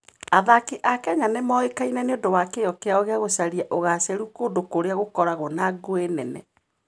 Athaki a Kenya nĩ moĩkaine nĩ ũndũ wa kĩyo kĩao gĩa gũcaria ũgaacĩru kũndũ kũrĩa gũkoragwo na ngũĩ nene.